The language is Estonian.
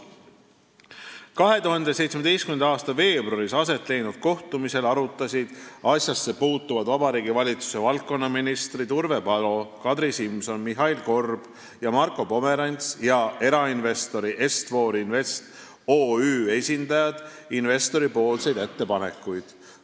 " 2017. aasta veebruaris aset leidnud kohtumisel arutasid asjasse puutuvad Vabariigi Valitsuse valdkonnaministrid Urve Palo, Kadri Simson, Mihhail Korb ja Marko Pomerants ning erainvestori Est-For Invest OÜ esindajad investori ettepanekuid.